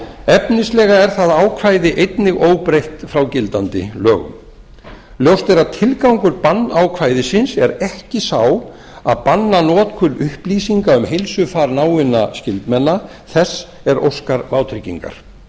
efnislega er það ákvæði einnig óbreytt frá gildandi lögum ljóst er að tilgangur bannákvæðisins er ekki sá að banna notkun upplýsinga um heilsufar náinna skyldmenna þess er óskar vátryggingar